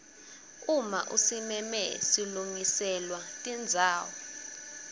uma usimeme silungiselwa tidzawo